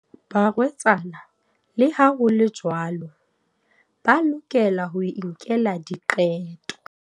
Barwetsana, le ha ho le jwalo, ba lokela ho inkela diqeto.